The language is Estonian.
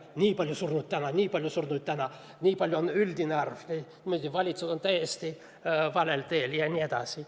Nii palju surnuid täna, nii suur üldarv, valitsus on täiesti valel teel jne.